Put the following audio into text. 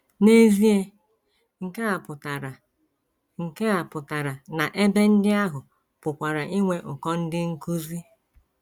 N’ezie, nke a pụtara nke a pụtara na ebe ndị ahụ pụkwara inwe ụkọ ndị nkụzi.